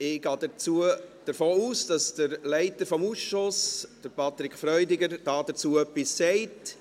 Ich gehe davon aus, dass der Leiter des Ausschusses, Patrick Freudiger, etwas dazu sagt.